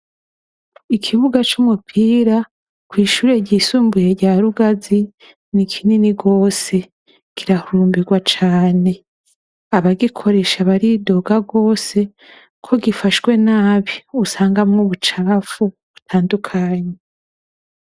Ikibuga c'umupira kw'ishure ry'isumbuye rya Rugazi ni kinini gose ; kirahurumbigwa cane. Abagikoresha baridoga gose ko gifashwe nabi usangamwo ubucafu butandukanye.